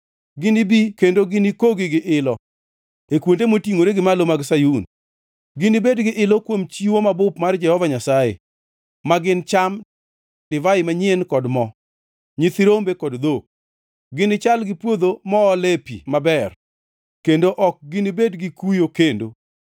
Ginibi kendo ginikogi gi ilo e kuonde motingʼore gi malo mag Sayun; ginibed gi ilo kuom chiwo mabup mar Jehova Nyasaye, ma gin cham, divai manyien kod mo, nyithi rombe kod dhok. Ginichal gi puodho moole pi maber, kendo ok ginibed gi kuyo kendo.